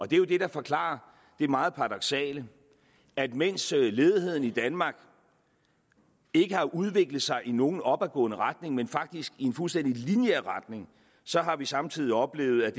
det er det der forklarer det meget paradoksale at mens ledigheden i danmark ikke har udviklet sig i nogen opadgående retning men faktisk i en fuldstændig lineær retning så har vi samtidig oplevet at